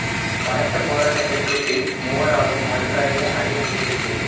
பலத்த போராட்டத்திற்கு பின் மூவராலும் மறு கரையை அடைய முடியவில்லை